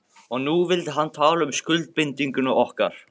Og nú vildi hann tala um skuldbindingu milli okkar.